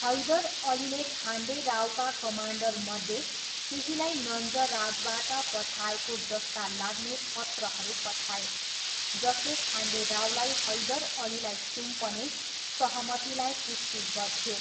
हैदर अलीले खान्डे रावका कमान्डरमध्ये केहीलाई नन्जराजबाट पठाएको जस्ता लाग्ने पत्रहरू पठाए जसले खान्डे रावलाई हैदर अलीलाई सुम्पने सहमतिलाई पुष्टि गर्थ्यो।